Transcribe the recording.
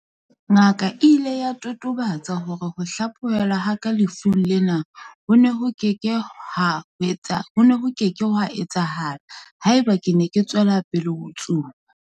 "Ngaka e ile ya totobatsa hore ho hlaphohelwa ha ka lefung lena ho ne ho ke ke hwa etsahala haeba ke ne ke tswela pele ho tsuba."